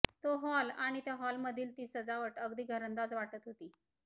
तो हॉल आणि त्या हॉलमधील ती सजावट अगदी घरंदाज वाटतं होती